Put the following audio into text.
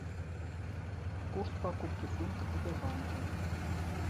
курс покупки фунтов в сбербанке